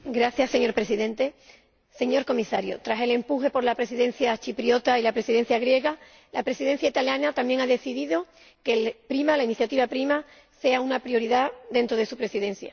Señor Presidente, señor Comisario, tras el impulso dado por la Presidencia chipriota y la Presidencia griega, la Presidencia italiana también ha decidido que la iniciativa PRIMA sea una prioridad dentro de su Presidencia.